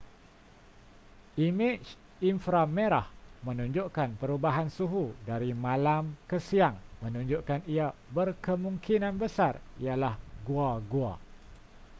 imej inframerah menunjukkan perubahan suhu dari malam ke siang menunjukkan ia berkemungkinan besar ialah gua-gua